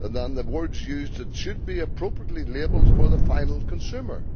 The words used are that it should be appropriately labelled for the final consumer'.